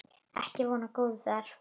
Ekki von á góðu þar.